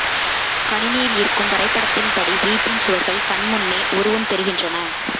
கணினியில் இருக்கும் வரைபடத்தின் படி வீட்டின் சுவர்கள் கண் முன்னே உருவம் பெறுகின்றன